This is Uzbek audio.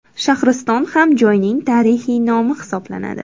Shahriston ham joyning tarixiy nomi hisoblanadi.